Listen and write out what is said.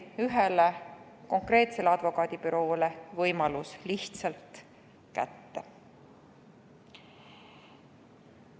Ühele konkreetsele advokaadibüroole mängiti võimalus lihtsalt kätte.